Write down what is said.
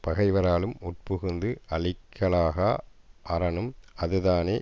பகைவராலும் உட்புகுந்து அழிக்கலாகா அரணும் அதுதானே